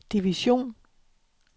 division